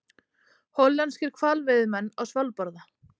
Hollenskir hvalveiðimenn á Svalbarða.